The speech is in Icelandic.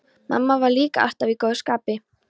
Mamma var líka alltaf í góðu skapi.